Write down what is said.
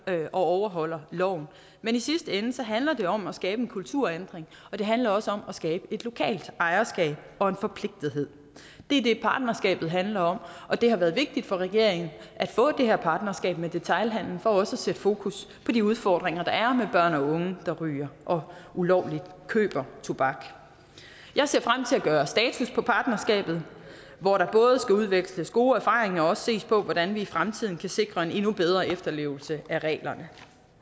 man overholder loven men i sidste ende handler det om at skabe en kulturændring og det handler også om at skabe et lokalt ejerskab og en forpligtethed det er det partnerskabet handler om og det har været vigtigt for regeringen at få det her partnerskab med detailhandelen for også at sætte fokus på de udfordringer der er med børn og unge der ryger og ulovligt køber tobak jeg ser frem til at gøre status på partnerskabet hvor der både skal udveksles gode erfaringer og også ses på hvordan vi i fremtiden kan sikre en endnu bedre efterlevelse af reglerne